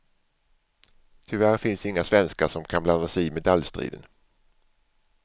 Tyvärr finns inga svenskar som kan blanda sig i medaljstriden.